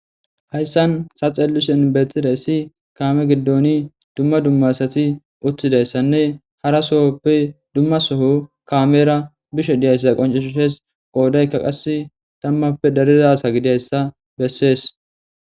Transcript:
hayssan sa xelushen beethtida issi kaame giddoni dumma dumma sati uttidayssanne hara sohoppe dumma soho kaamera bishe diyayssa qoncishushees qoodaykka qas tammappe darizasa gidiyayssa bessees